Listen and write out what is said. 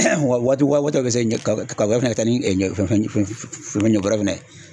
wa waati waati bɛ se ka kaba kaba fɛnɛ ta ni fɛn ɲɔ bɔɔrɛ fɛnɛ ye.